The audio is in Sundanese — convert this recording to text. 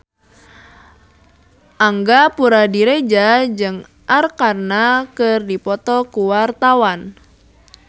Angga Puradiredja jeung Arkarna keur dipoto ku wartawan